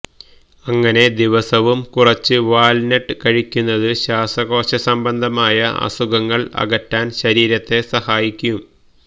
അങ്ങനെ ദിവസവും കുറച്ച് വാല്നട്ട് കഴിക്കുന്നത് ശ്വാസകോശ സംബന്ധമായ അസുഖങ്ങള് അകറ്റാന് ശരീരത്തെ സഹായിക്കും